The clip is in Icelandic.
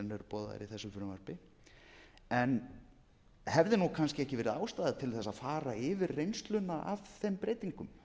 í þessu frumvarpi hefði kannski ekki verið ástæða til þess að fara yfir reynsluna af þeim breytingum